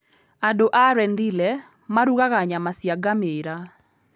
Andũ a Rendille marugaga nyama cia ngamĩĩra.